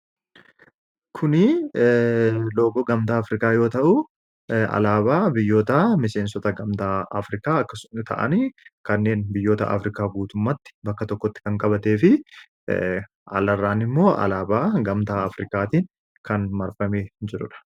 kuni logoo gamtaa afrikaa yoo ta'u alaabaa biyyoota miseensota gamtaa afrikaa akkasuma ta'ani kanneen biyyoota afrikaa guutummatti bakka tokkotti kan qabatee fi alarraan immoo alaabaa gamtaa afrikaatiin kan marfame jiruudha.